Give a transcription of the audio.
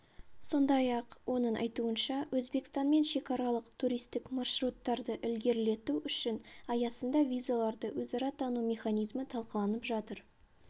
сондай-ақ оның айтуынша өзбекстанмен шекаралық туристік маршруттарды ілгерілету үшін аясында визаларды өзара тану механизмі талқыланып жатыр